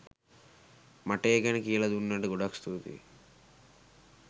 මට ඒ ගැන කියල දුන්නට ගොඩක් ස්තුතියි